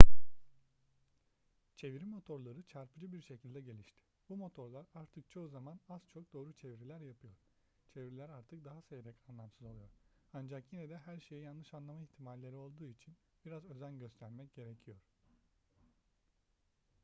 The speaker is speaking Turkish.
çeviri motorları çarpıcı bir şekilde gelişti. bu motorlar artık çoğu zaman az çok doğru çeviriler yapıyor çeviriler artık daha seyrek anlamsız oluyor ancak yine de her şeyi yanlış anlama ihtimalleri olduğu için biraz özen göstermek gerekiyor